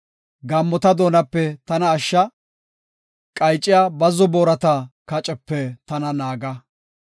Gaammota doonape tana ashsha; qayciya bazzo boorata kacepe tana naaga.